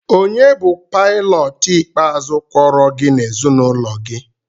Onye bụ Paịlọt ikpeazụ kwọrọ gị na ezinụlọ gị?